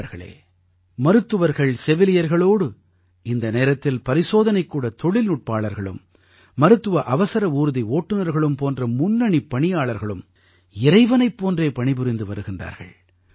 நண்பர்களே மருத்துவர்கள் செவிலியர்களோடு இந்த நேரத்தில் பரிசோதனைக்கூட தொழில்நுட்பாளர்களும் மருத்துவ அவசர ஊர்தி ஓட்டுநர்களும் போன்ற முன்னணிப் பணியாளர்களும் இறைவனைப் போன்றே பணிபுரிந்து வருகின்றார்கள்